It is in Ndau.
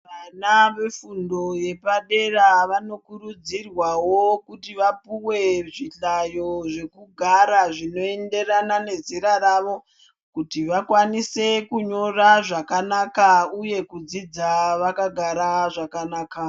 Vana vefundo yepadera vanokurudzirwawo kuti vapuwe zvihlayo zvekugara zvinoenderana nezera ravo ,kuti vakwanise kunyora zvakanaka uye kudzidza vakagara zvakanaka.